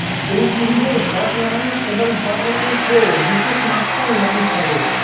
এই সিরিজের hot nine এবং হট নাইন প্রো দুটি স্মার্টফোন লঞ্চ হবে